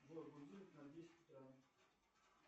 джой будильник на десять утра